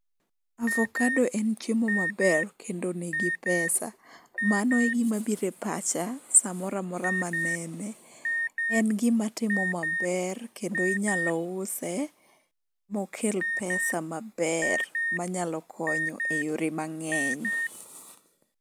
Avokado en chiemo maber kendo nigi pesa. Mano egimabiro e pacha samoro amora manene. En gimatimo maber kendo inyalo use mokel pesa maber manyalo konyo e yore mang'eny.